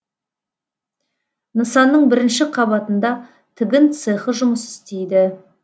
нысанның бірінші қабатында тігін цехы жұмыс істейді